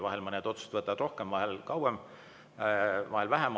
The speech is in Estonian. Vahel mõned otsused võtavad rohkem aega, kauem, vahel vähem.